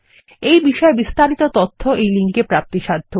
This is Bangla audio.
এই বিষয়ে বিস্তারিত তথ্য এই লিঙ্কে প্রাপ্তিসাধ্য